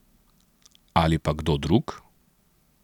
Ali pa kdo drug?